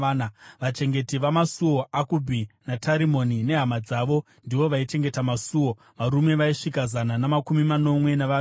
Vachengeti vamasuo: Akubhi, naTarimoni nehama dzavo, ndivo vaichengeta masuo, varume vaisvika zana namakumi manomwe navaviri.